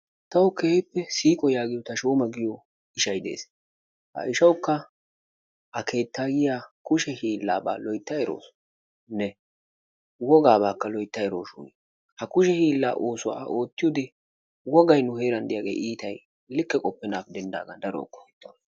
Tawu keehippe siiqo yaagiyo Tashooma yaagiyo ishay de'ees. Ha ishawukka A keettayiya kushe hiillaaba loytta erawusunne wogaabaakka loytta erawushun ha kushe hiillaa oosuwa A oottiyode wogay nu heeran de'iyaage iitay likke qoppenaagappe denddaga daro qohetawusu.